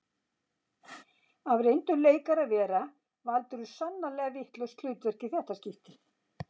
Af reyndum leikara að vera valdirðu sannarlega vitlaust hlutverk í þetta skiptið